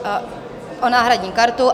O náhradní kartu.